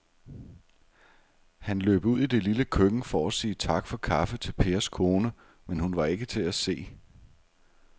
Han løb ud i det lille køkken for at sige tak for kaffe til Pers kone, men hun var ikke til at se.